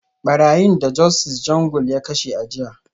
Barayin da Justice Jungle ya kashe a jiya